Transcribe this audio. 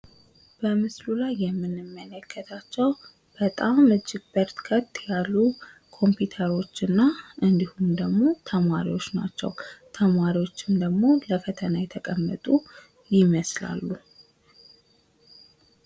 በምስሉ ላይ የምንመለከታቸው እጅግ በጣም በረከት ያሉ ኮምፒውተሮች እና እንዲሁም ደሞ ተማሪዎች ናቸው። ተማሪዎችም ደሞ ለፈተና የተቀመጡ ይመሳሰላሉ ።